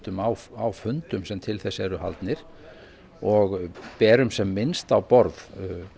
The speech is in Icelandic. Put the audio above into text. á fundum sem til þess eru haldnir og berum sem minnst á borð